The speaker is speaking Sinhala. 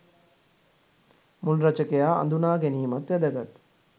මුල් රචකයා අඳුණා ගැනීමත් වැදගත්!